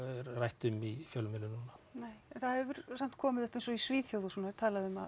rætt er um í fjölmiðlum núna nei en það hefur samt komið upp eins og í Svíþjóð og svona er talað um að